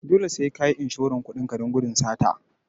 Dole sai kayi inshoran kudin ka don gudun sata